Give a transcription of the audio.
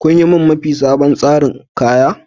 Kin yi mun mafi sabon tsarin kaya?